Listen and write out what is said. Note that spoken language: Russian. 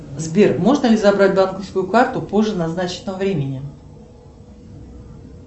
сбер можно ли забрать банковскую карту позже назначенного времени